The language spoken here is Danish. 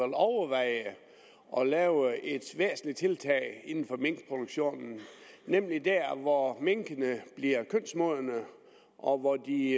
overveje at lave et væsentligt tiltag inden for minkproduktionen nemlig der hvor minkene bliver kønsmodne og hvor de i